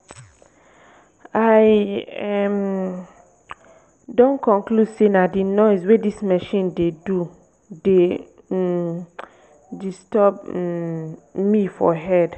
i um don conclude say na the noise wey dis machine dey do dey um disturb um me for head